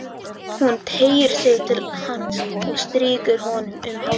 Hún teygir sig til hans og strýkur honum um hárið.